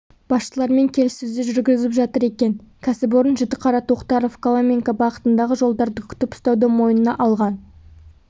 басшылығымен келіссөздер жүргізіп жатыр екен кәсіпорын жітіқара тоқтаров коломенка бағытындағы жолдарды күтіп ұстауды мойнына алған